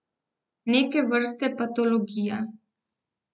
Neke vrste patologija.